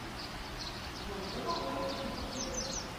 джой что такое киви кошелек